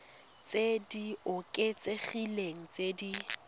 tse di oketsegileng tse di